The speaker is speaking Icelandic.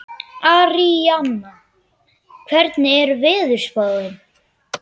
Aríanna, hvernig er veðurspáin?